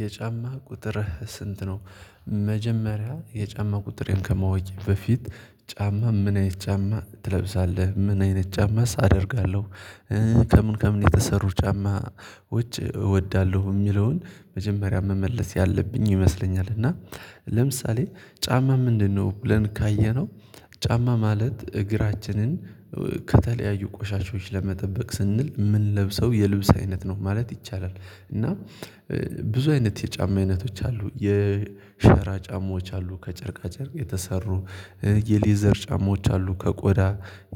የጫማ ቁጥር ስንት ነው? መጀመሪያ የጫማ ቁጥሬን ከመወያ በፊት ጫማ ምን አይነት ጫማ ትለብሳለህ? ምን አይነት ጫማ አደርጋለሁ። ከምን ከምን የተሰሩ ጫማ ውጭ እወዳለሁ። የሚለውን መጀመሪያ መመለስ ያለብኝ ይመስለኛል። እና ለምሳሌ ጫማ ምንድነው? ብለን ካየነው ጫማ ማለት እግራችንን ከተለያዩ ቆሻሻዎች ለመጠበቅ ስንል የምንለብሰው የልብስ አይነት ነው ማለት ይቻላል። እና ብዙ አይነት የጫማ አይነቶች አሉ የሸራ ጫማዎች አሉ ከጨርቃ ጨርቅ የተሰሩ የሌዘር ጫማዎች አሉ። ከቆዳ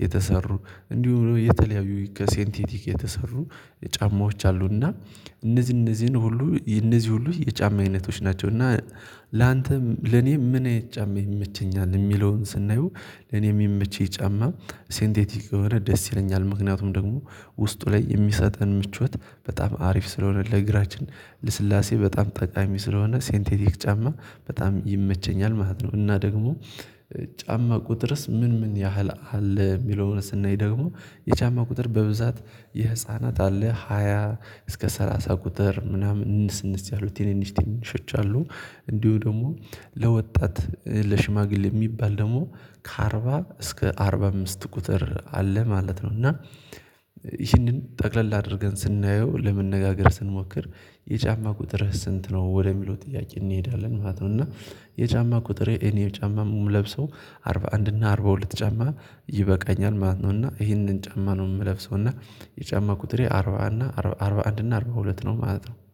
የተሰሩ እንዲሁም የተለያዩ ከሴንቲቲክ የተሰሩ ጫማዎች አሉና እነዚህ እነዚህን ሁሉ እነዚህ ሁሉ የጫማ አይነቶች ናቸውና። ላንተም ለኔ ምን አይነት ጫማ ይመቸኛል የሚለውን ስናየው ለኔ የሚመቸኝ ጫማ ሴንቴቲክ የሆነ ደስ ይለኛል ምክንያቱም ደግሞ ውስጡ ላይ የሚሰጠን ምቾት በጣም አሪፍ ስለሆነ ለእግራችን ለስላሴ በጣም ጠቃሚ ስለሆነ ሴንቴቲክ ጫማ በጣም ይመቸኛል ማለት ነው። እና ደግሞ ጫማ ቁጥርስ ምን ምን ያህል አለ? የሚለውን ስናይ ደግሞ የቻማ ቁጥር በብዛት የህፃናት አለ ሃያ እስከ ሰላሳ ቁጥር ምናምን እንስንስ ያሉ ትንንሽ ትንንሾች አሉ። እንዲሁ ደግሞ ለወጣት ለሽማግሌ የሚባል ደግሞ ከአርባ እስከ አርባ አምስት ቁጥር አለ ማለት ነው። እና ይህንን ጠቅለል አድርገን ስናየው ለመነጋገር ስንሞክር የጫማ ቁጥር ስንት ነው ወደሚለው ጥያቄ እንሄዳለን ማለት ነው። እና የጫማ ቁጥሬ እኔ ጫማ ሙም ለብሰው አርባ አንድ እና አርባ ሁለት ጫማ ይበቃኛል ማለት ነው። እና ይሄንን ጫማ ነው የምለብሰው። እና የጫማ ቁጥሬ አርባ እና አርባ አንድና አርባ ሁለት ነው ማለት ነው